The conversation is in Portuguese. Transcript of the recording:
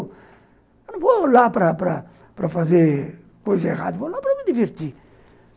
Eu não vou lá para para fazer coisa errada, eu vou lá para me divertir.